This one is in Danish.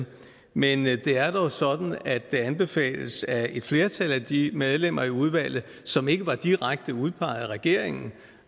men det er dog sådan at det anbefales af et flertal af de medlemmer i udvalget som ikke var direkte udpeget af regeringen